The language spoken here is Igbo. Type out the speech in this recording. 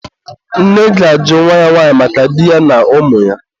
nne ga-ajụ nwa ya nwanyị maka di ya ụmụ ya.